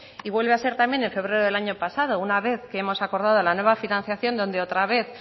y vuelve a ser también en febrero del año pasado una vez que hemos acordado la nueva financiación donde otra vez